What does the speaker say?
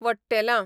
वट्टेलां